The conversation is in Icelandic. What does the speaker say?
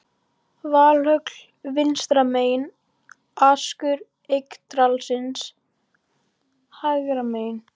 Valhöll vinstra megin, askur Yggdrasils hægra megin.